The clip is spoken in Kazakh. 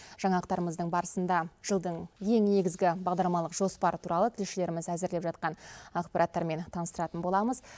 жаңалықтарымыздың барысында жылдың ең негізгі бағдарламалық жоспары туралы тілшілеріміз әзірлеп жатқан ақпараттармен таныстыратын боламыз